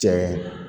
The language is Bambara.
Diɲɛ